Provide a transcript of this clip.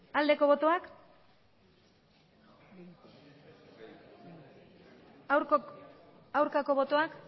aldeko botoak aurkako botoak